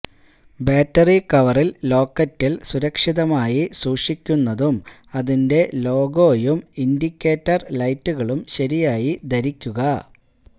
battery കവറിൽ ലോക്കറ്റിൽ സുരക്ഷിതമായി സൂക്ഷിക്കുന്നതും അതിന്റെ ലോഗോയും ഇൻഡിക്കേറ്റർ ലൈറ്റുകളും ശരിയായി ധരിക്കുക